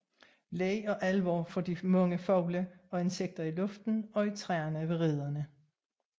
Leg og alvor for de mange fugle og insekter i luften og i træerne ved rederne